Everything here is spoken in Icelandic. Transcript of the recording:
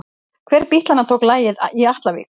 Hver bítlanna tók lagið í Atlavík?